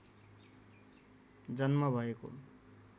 जन्म भएको